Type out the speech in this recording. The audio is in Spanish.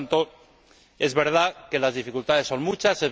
Por lo tanto, es verdad que las dificultades son muchas.